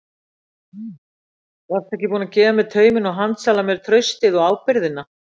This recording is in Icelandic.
Varstu ekki búin að gefa mér tauminn og handsala mér traustið og ábyrgðina?